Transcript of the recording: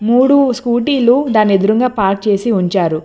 మూడు స్కూటీలు దానేదురంగా పార్క్ చేసి ఉంచారు.